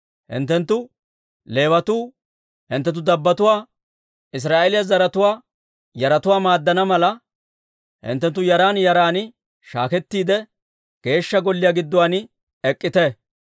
«Hinttenttu Leewatuu hinttenttu dabbotuwaa, Israa'eeliyaa zaratuwaa yaratuwaa maaddana mala, hinttenttu yaran yaran shaakettiide, Geeshsha Golliyaa gidduwaan ek'k'ite;